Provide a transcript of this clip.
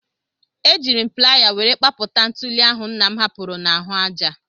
Ejiiri m playa were kpapụta ntuli ahụ nna m hapụrụ n'ahụ aja.